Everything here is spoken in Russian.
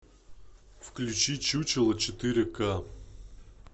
включи чучело четыре ка